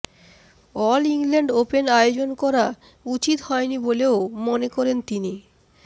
all England open আয়োজন করা উচিত হয়নি বলেও মনে করেন তিনি